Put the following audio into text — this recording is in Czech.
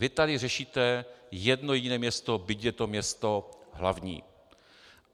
Vy tady řešíte jedno jediné město, byť je to město hlavní.